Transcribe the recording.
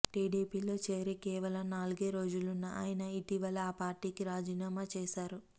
టీడీపీలో చేరి కేవలం నాలుగేరోజులున్న ఆయన ఇటీవలే ఆ పార్టీకి రాజీనామా చేశారు